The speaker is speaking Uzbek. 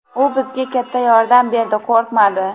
u bizga katta yordam berdi, qo‘rqmadi.